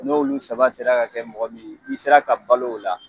N'olu saba sera ka kɛ mɔgɔ min ye, i sera ka balo o la